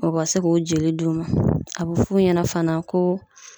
O ka se k'o joli d'u ma. A be f'u ɲɛna fana ko